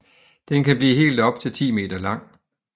Den kan blive helt op til 10 meter lang